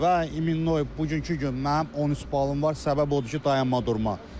Və imminoy bugünkü gün mənim 13 balım var, səbəb odur ki, dayanma durma.